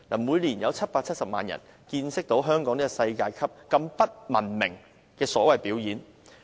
每年都有770萬人見識到香港這種世界級不文明的所謂表演。